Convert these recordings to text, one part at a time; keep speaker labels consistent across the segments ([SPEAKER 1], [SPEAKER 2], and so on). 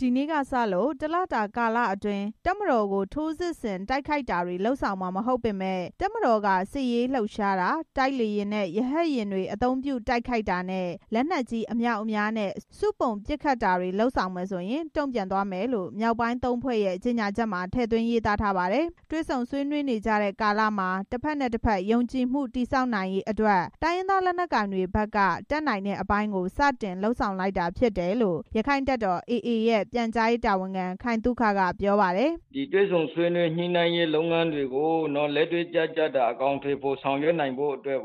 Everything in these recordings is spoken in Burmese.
[SPEAKER 1] ဒီနေ့ကစလို့ တစ်လကြာကာလအတွင်း တပ်မတော်ကို ထိုးစစ်ဆင်တိုက်ခိုက်တာတွေ လုပ်ဆောင်မှာ မဟုတ်ပေမယ့် တပ်မတော်က စစ်ဆင်ရေးလှုပ်ရှားတာ၊ တိုက်လေယာဉ်နဲ့ ရဟတ်ယာဉ် အသုံးပြုတိုက်ခိုက်တာနဲ့ လက်နက်ကြီး အမြောက်အမြားနဲ့ ပစ်ခတ်တာတွေလုပ်မယ်ဆိုရင် တုံ့ပြန်သွားမယ်လို့ မြောက်ပိုင်း သုံးဖွဲ့ရဲ့ ကြေညာချက်မှာ ထည့်သွင်းရေးသားထားပါတယ်။ တွေ့ဆုံဆွေးနွေးနေကြတဲ့ ကာလမှာ တဖက်နဲ့တဖက် ယုံကြည်မှုတည်ဆောက်နိုင်ရေးအတွက် တိုင်းရင်းသား လက်နက်ကိုင်တွေဘက်က တတ်နိုင်တဲ့အပိုင်းကို စတင်လုပ်ဆောင်လိုက်တာ ဖြစ်တယ်လို့ ရခိုင့်တပ်တော် AA ရဲ့ ပြန်ကြားရေးတာဝန်ခံ ခိုင်သုခက ပြောပါတယ်
[SPEAKER 2] ။ “တွေ့ဆုံဆွေးနွေးညှိနှိုင်းရေးလုပ်ငန်းတွေကို လက်တွေ့ကျကျ အကောင်အထည်ဖော်ဆောင်ရွက်နိုင်ဖို့အတွက်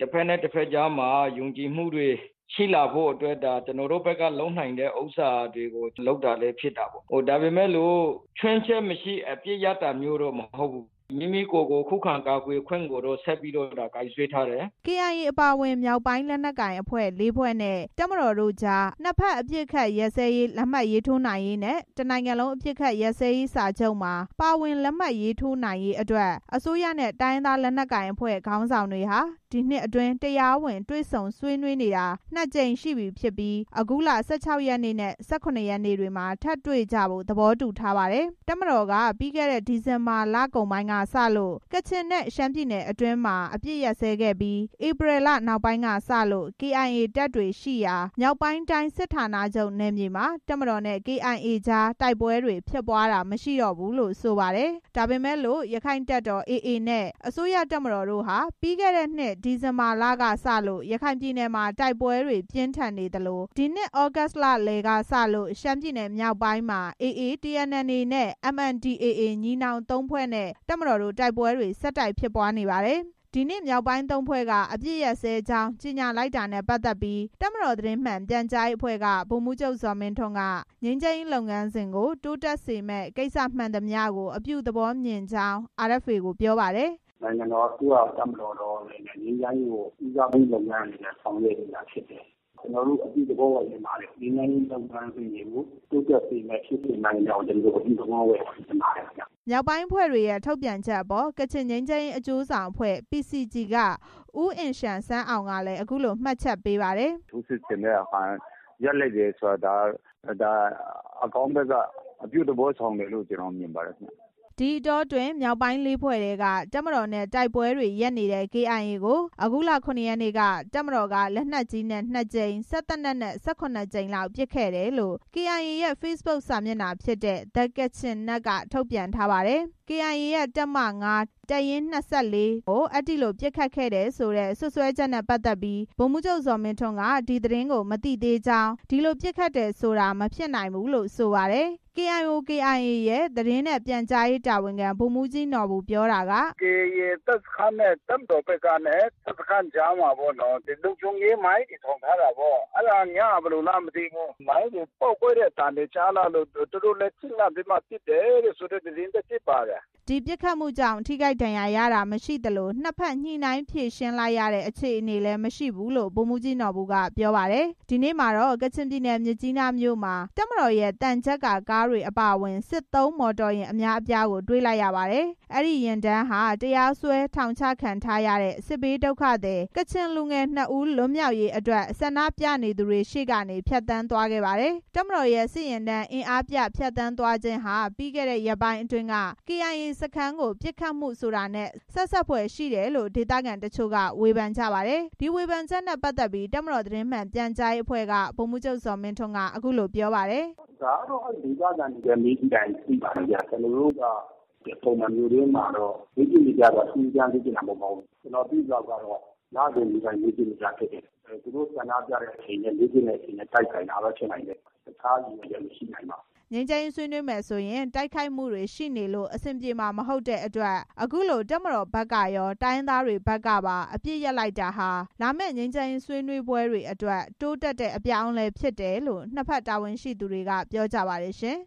[SPEAKER 2] တဖက်နဲ့တဖက်ကြားမှာ ယုံကြည်မှုတွေရှိလာဖို့အတွက် ကျနော်တို့ဘက်က လုပ်စရာရှိတာတွေကိုလုပ်တာလည်း ဖြစ်တာပေါ့။ ဒါပေမဲ့လို့ ခြွင်းချက်မရှိ အပစ်ရပ်တာမျိုးတော့ မဟုတ်ဘူး။ မိမိကိုယ်ကို ခုခံကာကွယ်ခွင့်ကို ထပ်ပြီးတော့ ကိုင်စွဲထားတယ်။
[SPEAKER 1] ” KIA အပါအဝင် မြောက်ပိုင်းလက်နက်ကိုင်အဖွဲ့ ၄ ဖွဲနဲ့ တပ်မတော်တို့ကြား နှစ်ဖက်အပစ်အခတ်ရပ်စဲရေး လက်မှတ်ရေးထိုးနိုင်ရေးနဲ့ တစ်နိုင်ငံလုံး အပစ်အခတ်ရပ်စဲရေးစာချုပ်မှာ ပါဝင်လက်မှတ်ရေးထိုးလာနိုင်ဖို့အတွက် အစိုးရနဲ့ တိုင်းရင်းသားလက်နက်ကိုင်အဖွဲ့ခေါင်းဆောင်တွေဟာ ဒီနှစ်အတွင်း တရားဝင် တွေ့ဆုံဆွေးနွေးတာ နှစ်ကြိမ်ရှိခဲ့ပြီး အခုလ ၁၆ ရက်နေ့နဲ့ ၁၇ ရက်နေ့ တွေမှာ ထပ်တွေ့ကြဖို့ သဘောတူထားပါတယ်။ တပ်မတော်က ပြီးခဲ့တဲ့ ဒီဇင်ဘာလကုန်ပိုင်းကစလို့ ကချင်နဲ့ ရှမ်းပြည်နယ်အတွင်းမှာ အပစ်အခတ်ရပ်စဲခဲ့ပြီး ဧပြီလနောက်ပိုင်းကစလို့ KIA တပ်တွေရှိရာ မြောက်ပိုင်းတိုင်းစစ်ဌာနချုပ်နယ်မြေမှာ တပ်မတော်နဲ့ KIA ကြား တိုက်ပွဲတွေ ဖြစ်ပွားတာ မရှိတော့ဘူးလို့ ဆိုပါတယ်။ ဒါပေမဲ့လို့ ရခိုင့်တပ်တော် AA နဲ့ အစိုးရတပ်မတော်တို့ဟာ ပြီးခဲ့တဲ့ ဒီဇင်ဘာလကစလို့ ရခိုင်ပြည်နယ်မှာ တိုက်ပွဲတွေ ပြင်းထန်နေသလို သြဂုတ်လလယ်ကစလို့ ရှမ်းပြည်နယ် မြောက်ပိုင်းမှာ AA, TNLA, MNDAA ညီနောင်သုံးဖွဲ့နဲ့ တပ်မတော်တို့ တိုက်ပွဲတွေ ဆက်တိုက် ဖြစ်ပွားခဲ့တာပါ။ ဒီနေ့ မြောက်ပိုင်း ၃ ဖွဲ့က အပစ်ရပ်စဲကြောင်း ကြေညာလိုက်တာနဲ့ ပတ်သက်ပြီး တပ်မတော် သတင်းမှန် ပြန်ကြားရေးအဖွဲ့က ဗိုလ်မှူးချုပ်ဇော်မင်းထွန်းက ငြိမ်းချမ်းရေးလုပ်ငန်းစဉ်ကို တိုးတက်စေမယ့် ကိစ္စမှန်သမျှကို အပြုသဘောမြင်ကြောင်း RFA ကို ပြောပါတယ်။
[SPEAKER 2] “နိုင်ငံတော်အစိုးရကော၊ တပ်မတော်ကော ငြိမ်းချမ်းရေးလုပ်ငန်းကို ဦးစားပေးအနေနဲ့ ဆောင်ရွက်နေတာဖြစ် တယ်။ ကျနော်တို့ အပြုသဘောပဲ မြင်ပါတယ်။ ငြိမ်းချမ်းရေးလုပ်ငန်းစဉ်တွေကို တိုးတက်စေမယ့် ဖြစ်စဉ်မှန် သမျှကို ကျနော်တို့ အပြုသဘောပဲ မြင်ပါတယ်။”
[SPEAKER 1] မြောက်ပိုင်းအဖွဲ့တွေရဲ့ ထုတ်ပြန်ချက်အပေါ် ကချင်ငြိမ်းချမ်းရေးအကျိုးဆောင်အဖွဲ့ PCG က ဦးအင်လျန်ဆန်းအောင် ကလည်း အခုလို မှတ်ချက်ပေးပါတယ်။
[SPEAKER 2] “ထိုးစစ်ဆင်တဲ့ဟာ ရပ်လိုက်တာ၊ အကောင်းဘက်က အပြုသဘောဆောင်တယ်လို့ ကျနော်မြင်ပါတယ်ခင်ဗျ။
[SPEAKER 1] ” ဒီအတောအတွင်း မြောက်ပိုင်း လေးဖွဲ့ထဲက တပ်မတော်နဲ့ တိုက်ပွဲတွေရပ်နေတဲ့ KIA ကို အခုလ ၇ ရက်နေ့က တပ်မတော်က လက်နက်ကြီးနဲ့ နှစ်ကြိမ်၊ စက်သေနတ်နဲ့ ၁၇ ကြိမ်လောက် ပစ်ခတ်ခဲ့တယ်လို့ ကေအိုင်အေရဲ့ ဖေ့စ်ဘွတ်စာမျက်နှာဖြစ်တဲ့ The Kachin Net က ထုတ်ပြန်ထားပါတယ်။ KIA ရဲ့ တပ်မ ၅ ၊ တပ်ရင်း ၂၄ အဲဒီလို ပစ်ခတ်ခံရတယ် ဆိုတဲ့ စွပ်စွဲချက်နဲ့ ပတ်သက်ပြီး ဗိုလ်မှူးချုပ် ဇော်မင်းထွန်းက ဒီသတင်းကို မသိသေးကြောင်း၊ အဲဒီလို ပစ်ခတ်တယ်ဆိုတာ မဖြစ်နိုင်ဘူးလို့ ဆိုပါတယ်။ KIO/KIA ရဲ့ သတင်းနဲ့ ပြန်ကြားရေးတာဝန်ခံ ဗိုလ်မှူးကြီးနော်ဘူ ပြောတာက “
[SPEAKER 2] ကေအိုင်ကေ တပ်စခန်းနဲ့ တပ်မတော်ဘက်ကနဲ့ ကြားမှာ လုံခြုံရေးမိုင်းတွေထောင်ထားတာ။ ညမှာ မိုင်းတွေပေါက်ကွဲတဲ့အသံတွေကြားလာလို့ သူတို့လည်း ထိတ်လန့်ပြီးမှ ပစ်တယ်ဆိုတဲ့သတင်း လည်းဖြစ်ပါတယ်။”
[SPEAKER 1] ဒီပစ်ခတ်မှုကြောင့် ထိခိုက်ဒဏ်ရာရတာမရှိသလို နှစ်ဖက်ညှိနှိုင်းဖြေရှင်းလိုက်ရတဲ့ အခြေအနေလည်း မရှိဘူးလို့ ဗိုလ်မှူးကြီး နော်ဘူက ပြောပါတယ်။ ဒီနေ့မှာတော့ ကချင်ပြည်နယ်မြစ်ကြီးနားမြို့မှာ တပ်မတော်ရဲ့ သံချပ်ကာကားတွေအပါအဝင် စစ်သုံးမော်တော်ယာဉ်အများအပြားကို တွေ့လိုက်ရပါတယ်။ အဲဒီယာဉ်တန်းဟာ တရားစွဲ ထောင်ချခံထားရတဲ့ စစ်ဘေးဒုက္ခသည် ကချင်လူငယ်နှစ်ဦး လွတ်မြောက်ရေးအတွက် ဆန္ဒပြနေသူရှေ့ကနေ ဖြတ်သန်းသွားခဲ့ကြပါတယ်။ တပ်မတော်ရဲ့ စစ်ယာဉ်တန်း အင်အားပြ ဖြတ်သန်းသွားလာခြင်းဟာ ပြီးခဲ့တဲ့ရက်ပိုင်းအတွင်း KIA စခန်းကို ပစ်ခတ်မှုဆိုတာနဲ့လည်း ဆက်စပ်ဖွယ်ရှိတယ်လို့ ဒေသခံတချို့က ဝေဖန်ကြပါတယ်။ ဒီဝေဖန်ချက်နဲ့ ပတ်သက်ပြီး တပ်မတော်သတင်းမှန်ပြန်ကြားရေးအဖွဲ့က ဗိုလ်မှူးချုပ်ဇော်မင်းထွန်း က အခုလို ပြောပါတယ်
[SPEAKER 2] ။ “ဒါကတော့ ဒေသခံတွေလည်း မေးကြည့်လိုက်ရင် သိပါတယ်ခင်ဗျ။ ကျနော်တို့က ပုံမှန်မြို့ထဲမှာတော့ လေ့ကျင့်နေကြပါ။ ထူးထူးခြားခြားလေ့ကျင့်တာ မဟုတ်ပါဘူး။ ကျနော်သိသလောက်ကတော့ လစဉ် လေ့ကျင့်နေကြဖြစ်တယ်။ သူတို့ဆန္ဒပြတဲ့အချိန်နဲ့ လေ့ကျင်ချိန်နဲ့ တိုက်ဆိုင်တာ ဖြစ်နိုင်ပါတယ်။ တခြားရည်ရွယ်ချက်မရှိနိုင်ပါဘ
[SPEAKER 1] ူး။” ငြိမ်းချမ်းရေးဆွေးနွေးမယ်ဆိုရင် တိုက်ခိုက်မှုတွေရှိနေလို့ အဆင်ပြေမှာမဟုတ်တဲ့အတွက် အခုလို တပ်မတော်ဘက်ကကော တိုင်းရင်းသားတွေဘက်ကပါ အပစ်ရပ်လိုက်တာဟာ လာမယ့်ငြိမ်းချမ်းရေး ဆွေးနွေးပွဲတွေအတွက် တိုးတက်တဲ့အပြောင်းအလဲဖြစ်တယ်လို့ နှစ်ဖက်တာဝန်ရှိသူတွေက ပြောကြပါတယ်။ (RFA သတင်